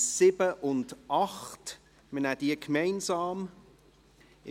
7 und 8. Wir nehmen diese gemeinsam an die Reihe.